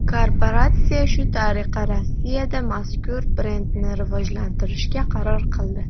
Korporatsiya shu tariqa Rossiyada mazkur brendni rivojlantirishga qaror qildi.